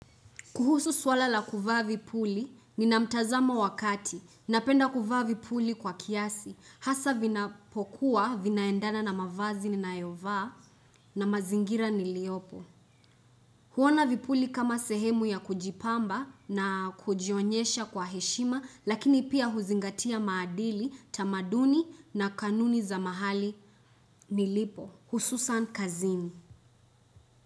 Kuhusu swala la kuvaa vipuli, nina mtazamo wa kati. Napenda kuvaa vipuli kwa kiasi, hasa vinapokuwa, vinaendana na mavazi ninayovaa na mazingira niliopo. Huona vipuli kama sehemu ya kujipamba na kujionyesha kwa heshima, lakini pia huzingatia maadili, tamaduni na kanuni za mahali nilipo, hususan kazini.